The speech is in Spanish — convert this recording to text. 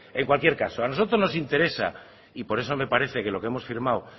en cualquier caso a nosotros nos interesa y por eso me parece que lo que hemos firmado